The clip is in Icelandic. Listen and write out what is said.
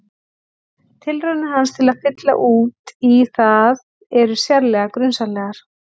Tilraunir hans til að fylla út í það eru sérlega grunsamlegar.